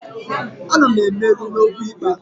Ana m emeri n'okwu ikpe a